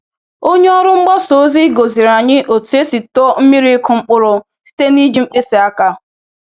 Onye ọrụ mgbasa ozi gosiere anyị otu esi tụọ miri ịkụ mkpụrụ site n’iji mkpịsị aka